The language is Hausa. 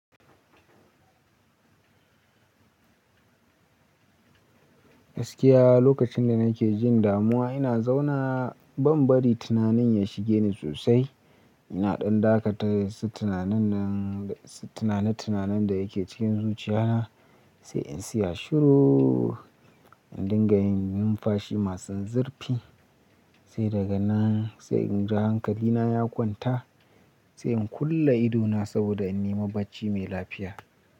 Gaskiya lokacin da nake jin damuwa ina zauna ban bari tunanin ya shige ni sosai. Ina ɗan dakatare su tunanin nan da su tunane-tunanen da yake cikin zuciya na sai in siya shirooo, in dinga yin numfashi masu zurfi sai daga nan sai in ja hankali na ya kwanta, sai in kulle idona saboda in nema bacci mai lafiya.